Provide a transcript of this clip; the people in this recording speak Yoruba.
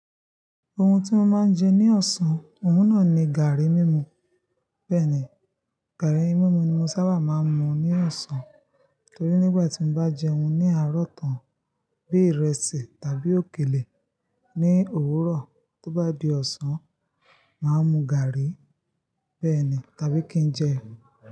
Ohun tí mo máa ń jẹ ní ọ̀sán, ohun náà ni gààrí mímu. Bẹ́ẹ̀ ni, gààrí mímu ni mo sábà máa ń mu ní ọ̀sán. Nítorí nígbà tí mo bá jẹun ní àárọ̀ tán bí ìrẹsì tàbí òkèlè ní òwúrọ̀, tó bá di ọ̀sán, mà á mu gààrí bẹ́ẹ̀ ni tàbí kí n jẹ.